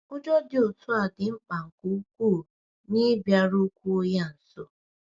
Ụjọ dị otu a dị mkpa nke ukwuu n’ịbịarukwuo ya nso.